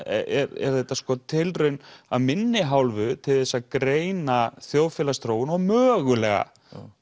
er þetta sko tilraun af minni hálfu til þess að greina þjóðfélagsþróun og mögulega